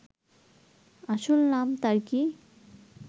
আসল নাম তার কি